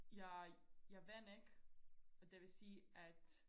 jeg jeg vandt ikke og det vil sige at